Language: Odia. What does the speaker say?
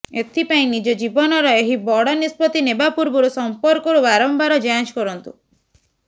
ଏଥିପାଇଁ ନିଜ ଜୀବନର ଏହି ବଡ଼ ନିଷ୍ପତି ନେବା ପୂର୍ବରୁ ସମ୍ପର୍କରୁ ବାରମ୍ବାର ଯାଞ୍ଚ କରନ୍ତୁ